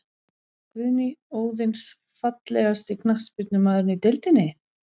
Guðný Óðins Fallegasti knattspyrnumaðurinn í deildinni?